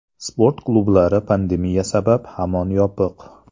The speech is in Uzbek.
Sport klublari pandemiya sabab hamon yopiq.